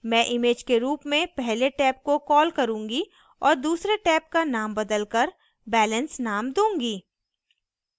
मैं image के रूप में पहले टेब को कॉल करूँगी और दूसरे टेब का नाम बदलकर balance नाम दूँगी